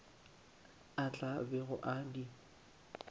a tla bego a di